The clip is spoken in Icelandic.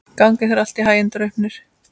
Gangi þér allt í haginn, Draupnir.